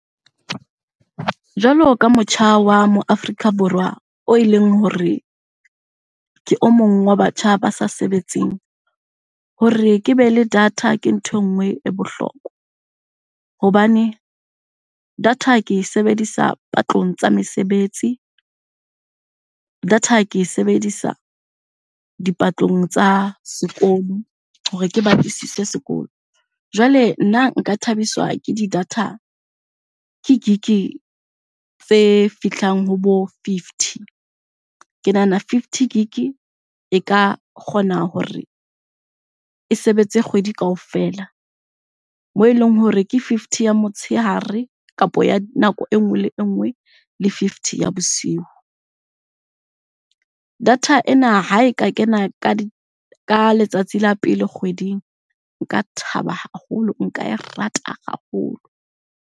Jwalo ka motjha wa mo Afrika Borwa o eleng hore ke o mong wa batjha ba sa sebetseng, hore ke be le data ke ntho e nngwe e bohlokwa. Hobane data ke e sebedisa patlong tsa mesebetsi, data ke e sebedisa dipatlong tsa sekolo hore ke batlisise sekolo. Jwale nna nka thabiswa ke di-data, ke gig-e tse fihlang ho bo fifty. Ke nahana fifty gig-e e ka kgona hore e sebetse kgwedi kaofela, moo e leng hore ke fifty ya motshehare kapa ya nako e nngwe le e nngwe le fifty ya bosiu. Data ena ha e ka kena ka ka letsatsi la pele kgweding nka thaba haholo, nka e rata haholo.